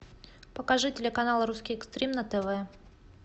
покажи телеканал русский экстрим на тв